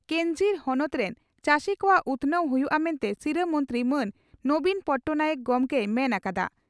ᱠᱮᱧᱡᱷᱤᱨ ᱦᱚᱱᱚᱛ ᱨᱮᱱ ᱪᱟᱹᱥᱤ ᱠᱚᱣᱟᱜ ᱩᱛᱷᱱᱟᱹᱣ ᱦᱩᱭᱩᱜᱼᱟ ᱢᱮᱱᱛᱮ ᱥᱤᱨᱟᱹ ᱢᱚᱱᱛᱨᱤ ᱢᱟᱱ ᱱᱚᱵᱤᱱ ᱯᱚᱴᱴᱚᱱᱟᱭᱮᱠ ᱜᱚᱢᱠᱮᱭ ᱢᱮᱱ ᱟᱠᱟᱫᱼᱟ ᱾